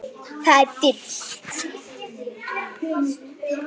Það er dimmt.